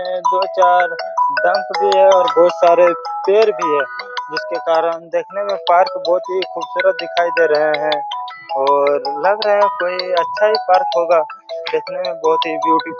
दो चार बस भी हैं और बहुत सारे पेड़ भी हैं जिसके कारण देखने में पार्क बहुत ही खूबसूरत दिखाई दे रहा हैं और लग रहा हैं कोई अच्छा ही पार्क होगा देखने में बहुत ही ब्यूटीफुल --